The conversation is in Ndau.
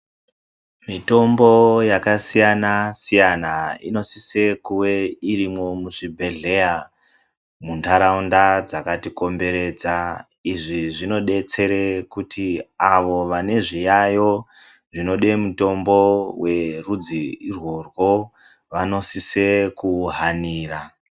Mitombo yakasiyana-siyana inosise kuwe irimwo muzvibhedhleya muntaraunda dzakatikomberedza, izvi zvinodetsere kuti avo vane zviyayo zvinode mitombo werudzi irworwo vanosise kuuhanira.